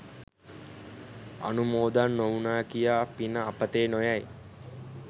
අනුමෝදන් නොවුනා කියා පින අපතේ නො යයි.